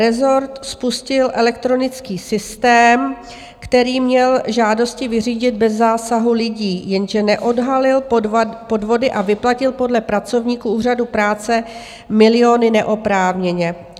Rezort spustil elektronický systém, který měl žádosti vyřídit bez zásahu lidí, jenže neodhalil podvody a vyplatil podle pracovníků úřadu práce miliony neoprávněně.